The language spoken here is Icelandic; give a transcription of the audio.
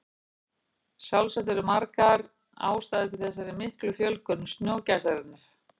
Sjálfsagt eru margar ástæður fyrir þessari miklu fjölgun snjógæsarinnar.